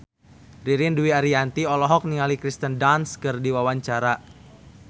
Ririn Dwi Ariyanti olohok ningali Kirsten Dunst keur diwawancara